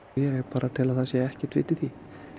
ég tel að það sé ekkert vit í því